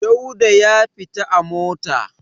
Dauda ya fita a mota.